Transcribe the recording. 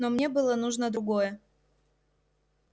но мне было нужно другое